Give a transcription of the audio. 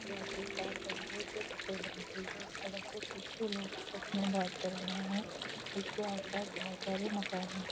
उसके आगे एक कार खड़ी है जो सफ़ेद रंग की है सड़क पर कुछ लोग आपस में बात कर रहे है उसके आस पास बहुत सारे मकान हैं ।